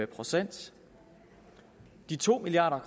procent de to milliard